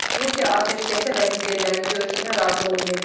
Rusiya atəşkəsə və liderlərin görüşünə razı olmayıb.